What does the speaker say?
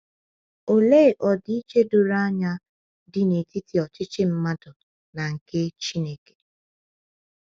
Olee ọdịiche doro anya dị n’etiti ọchịchị mmadụ na nke Chineke!